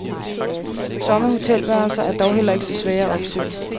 Tomme hotelværelser er dog heller ikke så svære at opstøve.